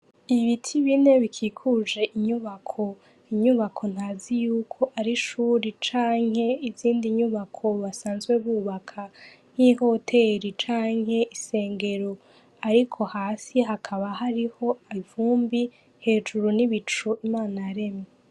Ibiti bine bikikuje inyubako. Inyubako ntazi yuko ari ishure canke izindi nyubako basanzwe bubaka nk'ihoteri canke ishengero ariko hasi hakaba hariho ivumbi, hejuru n'ibicu Imana yaremye.